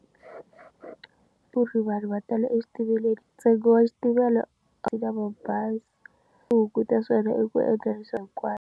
Ku ri vanhu va tala exitimeleni ntsengo wa xitimela mabazi ku hunguta swona eku endla leswa hinkwaswo.